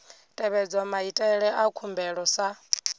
tevhedzwa maitele a khumbelo sa